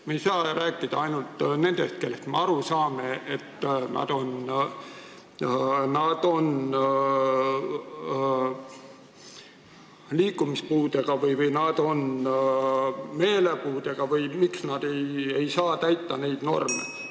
Me ei saa rääkida ainult nendest inimestest, kelle puhul me saame aru, et nad on liikumispuudega või meelepuudega või miks nad ei saa neid norme täita.